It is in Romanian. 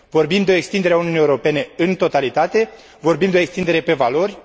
Vorbim de o extindere a Uniunii Europene în totalitate, vorbim de o extindere pe valori.